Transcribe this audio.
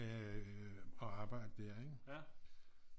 Og arbejde der ikke